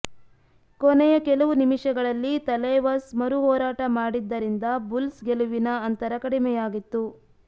ಕೊನೆಯ ಕೆಲವು ನಿಮಿಷಗಳಲ್ಲಿ ತಲೈವಾಸ್ ಮರುಹೋರಾಟ ಮಾಡಿದ್ದರಿಂದ ಬುಲ್ಸ್ ಗೆಲುವಿನ ಅಂತರ ಕಡಿಮೆಯಾಗಿತ್ತು